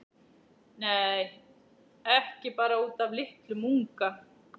Nei, ekki bara út af litlum unga.